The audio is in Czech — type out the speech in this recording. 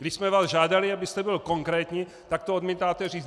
Když jsme vás žádali, abyste byl konkrétní, tak to odmítáte říct!